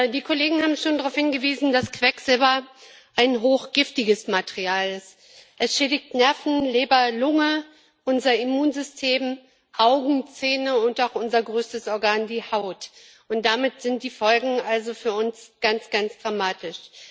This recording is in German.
Die Kollegen haben schon darauf hingewiesen, dass Quecksilber ein hochgiftiges Material ist es schädigt Nerven, Leber, Lunge, unser Immunsystem, Augen, Zähne und auch unser größtes Organ, die Haut, und damit sind die Folgen für uns ganz, ganz dramatisch.